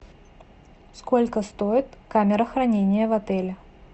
сколько стоит камера хранения в отеле